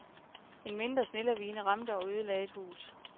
En mindre snelavine ramte og ødelagde et hus.